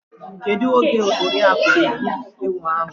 Kedụ oge Oriaku ga-egbu ewu ahụ?